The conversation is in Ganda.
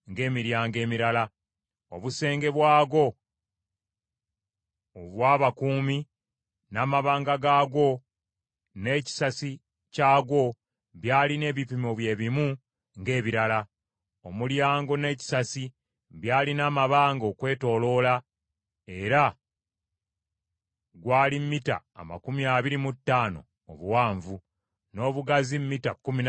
Obusenge bwagwo obw’abakuumi n’amabanga gaagwo, n’ekisasi kyagwo byalina ebipimo bye bimu ng’ebirala. Omulyango n’ekisasi byalina amabanga okwetooloola, era gwali mita amakumi abiri mu ttaano obuwanvu, n’obugazi mita kkumi na bbiri n’ekitundu.